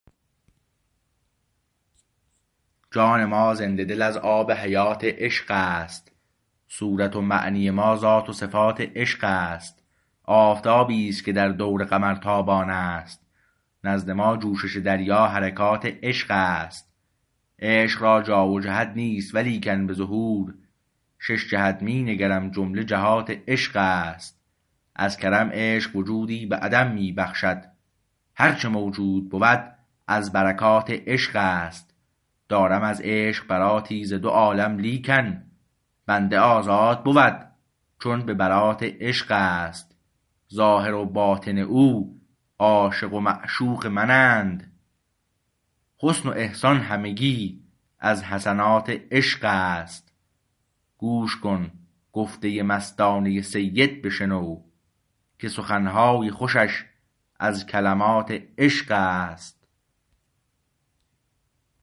جان ما زنده دل از آب حیات عشق است صورت و معنی ما ذات و صفات عشق است آفتابی است که در دور قمر تابان است نزد ما جوشش دریا حرکات عشق است عشق را جا و جهت نیست ولیکن به ظهور شش جهت می نگرم جمله جهات عشق است از کرم عشق وجودی به عدم می بخشد هر چه موجود بود از برکات عشق است دارم از عشق براتی ز دو عالم لیکن بنده آزاد بود چون به برات عشق است ظاهر و باطن او عاشق و معشوق منند حسن و احسان همگی از حسنات عشق است گوش کن گفته مستانه سید بشنو که سخنهای خوشش از کلمات عشق است